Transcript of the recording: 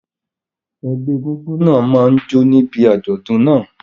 Ẹgbẹ́ egúngún náà máa jó níbi àjọ̀dún náà.